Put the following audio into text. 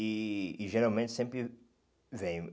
E e geralmente sempre vem.